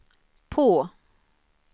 på